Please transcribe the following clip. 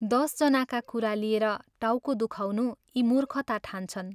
दश जनाका कुरा लिएर टाउको दुखाउनु यी मूर्खता ठान्छन्।